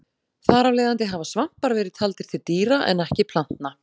Þar af leiðandi hafa svampar verið taldir til dýra en ekki plantna.